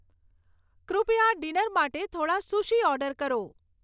કૃપયા ડિનર માટે થોડાં સુશી ઓર્ડર કરો